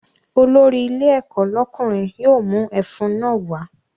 Olórí ilé ẹ̀kọ́ lọ́kùnrin yóò mú ẹfun náà wá